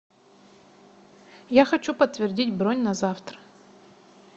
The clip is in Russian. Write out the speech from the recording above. я хочу подтвердить бронь на завтра